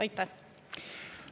Aitäh!